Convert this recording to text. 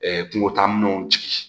kungo taa minɛnw jigin